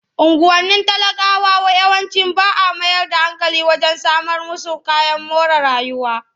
Unguwannin talakawa yawanci ba a mayar da hankali wajen samar musu kayan more rayuwa.